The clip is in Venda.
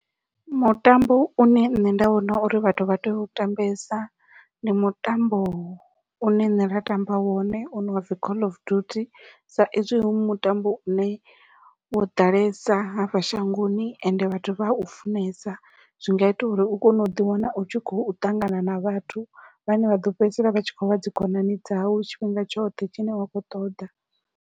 Mutambo une nṋe nda vhona uri vhathu vha tea u tambesa ndi mutambo une nṋe nda tamba wone une wapfhi call of duty sa ezwi hu mutambo une wo ḓalesa hafha shangoni ende vhathu vha u funesa, zwi nga ita uri u kone uḓi wana u tshi khou ṱangana na vhathu vhane vha ḓo fhedzisela vha tshi khou vha dzi khonani dzau tshifhinga tshoṱhe tshine wa khou ṱoḓa.